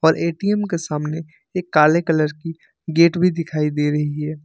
और ए_टी_एम का सामने एक काला कलर की गेट भी दिखाई दे रही है।